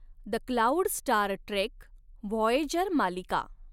the Cloud Star Trek Voyager मालिका